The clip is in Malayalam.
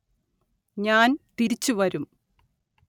ഞാൻ തിരിച്ചുവരും